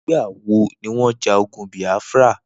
Nigbà wó niwọn jà ógùn Biafra?